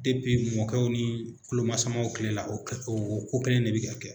Depi mɔkɛw ni kulomasamaw kile la o o ko kelen ne bɛ ka kɛ.